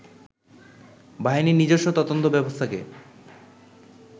বাহিনীর নিজস্ব তদন্ত ব্যবস্থাকে